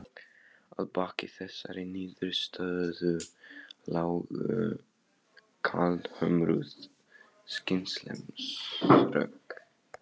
Að baki þessari niðurstöðu lágu kaldhömruð skynsemisrök.